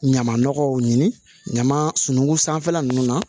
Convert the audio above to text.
Ɲama nɔgɔw ɲini ɲama sungun sanfɛla ninnu na